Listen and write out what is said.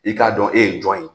I k'a dɔn e ye jɔn ye?